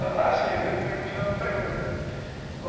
Ah, sim, pergunta.